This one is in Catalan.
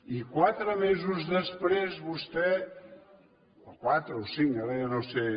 i quatre mesos després vostè quatre o cinc ara ja no ho sé